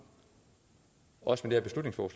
også med